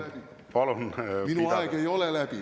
Jaa, minu aeg on läbi.